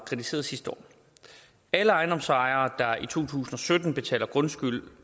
kritiseret sidste år alle ejendomsejere der i to tusind og sytten betaler grundskyld